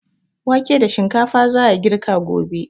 Wake da shinkafa za a girka gobe.